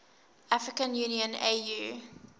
african union au